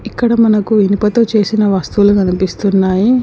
ఇక్కడ మనకు ఇనుప తో చేసిన వస్తువులు కనిపిస్తూన్నాయి.